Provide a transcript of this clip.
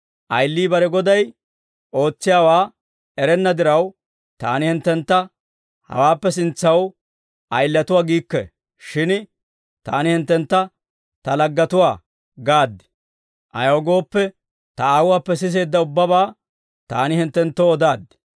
«Ayilii bare goday ootsiyaawaa erenna diraw, Taani hinttentta hawaappe sintsaw ayilatuwaa giikke; shin Taani hinttentta Ta laggetuwaa gaad. Ayaw gooppe, Ta Aawuwaappe siseedda ubbabaa Taani hinttenttoo odaaddi.